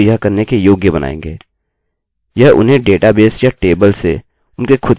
यह उन्हें डेटाबेस या टेबलतालिकासे उनके खुद के पसंद का एक नाम चुनने देगा